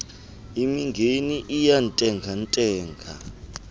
mingeni iyantenga ntenga